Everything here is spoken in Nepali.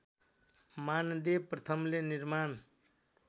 मानदेव प्रथमले निर्माण